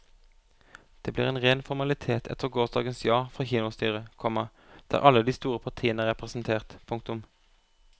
Det blir en ren formalitet etter gårsdagens ja fra kinostyret, komma der alle de store partiene er representert. punktum